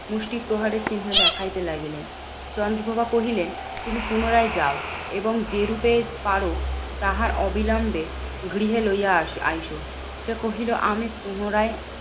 মুষ্টি প্রহারের চিহ্ন দেখাইতে লাগিলেন। চন্দ্রপ্রভা কহিলেন, তুমি পুনরায় যাও এবং যেরূপে পারো তাহার অবিলম্বে গৃহে লইয়া আসি আইসো। সে কহিল, আমি পুনরায়